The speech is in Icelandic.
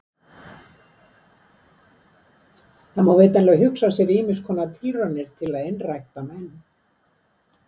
Það má vitanlega hugsa sér ýmiss konar tilraunir til að einrækta menn.